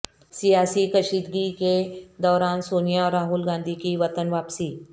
سیاسی کشیدگی کے دوران سونیا اور راہل گاندھی کی وطن واپسی